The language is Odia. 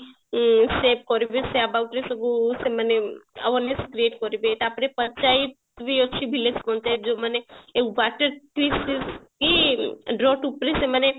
ଉଁ ସେଭ କରିବେ ସେ about ରେ ସବୁ ସେମାନେ awareness create କରିବେ ତାପରେ ପଞ୍ଚାୟତ ବି ଅଛି village ପଞ୍ଚାୟତ ଯୋଉମାନେ ଉପରେ ସେମାନେ